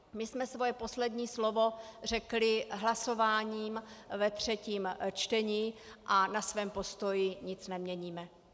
My jsme svoje poslední slovo řekli hlasováním ve třetím čtení a na svém postoji nic neměníme.